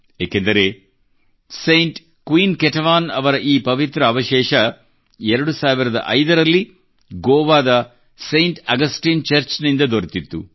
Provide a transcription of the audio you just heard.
ಏಕೆಂದರೆ saint queen Ketevan saint queen Ketevan ರವರ ಈ ಪವಿತ್ರ ಅವಶೇಷ 2005 ರಲ್ಲಿ ಗೋವಾದ ಸೈಂಟ್ ಆಗಸ್ಟೈನ್ ಚರ್ಚ್ ನಿಂದ ದೊರೆತಿತ್ತು